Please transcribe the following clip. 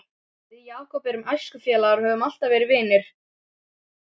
Við Jakob erum æskufélagar og höfum alltaf verið vinir.